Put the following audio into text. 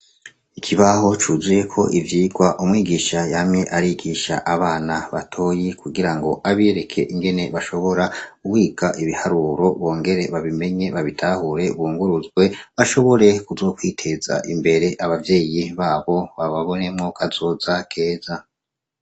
Ikibaho cuzuyeko ivyigwa, umwigisha yamye arigisha abana batoyi, kugira ngo abereke ingene bashobora kwiga ibiharuro, bongere babimenye, babitahure, bunguruzwe, bashobore kuzokwiteza imbere; abavyeyi babo bababonemwo kazoza keza.